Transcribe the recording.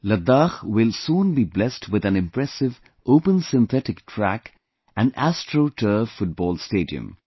Ladakh will soon be blessed with an impressive Open Synthetic Track and Astro Turf Football Stadium